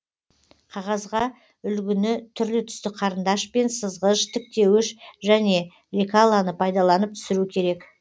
қағазға үлгіні түрлі түсті қарындаш пен сызғыш тіктеуіш және лекалоны пайдаланып түсіру керек